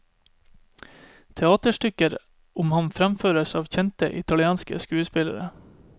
Teaterstykker om ham fremføres av kjente, italienske skuespillere.